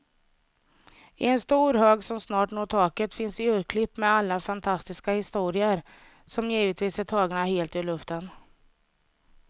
I en stor hög som snart når taket finns urklipp med alla fantastiska historier, som givetvis är tagna helt ur luften.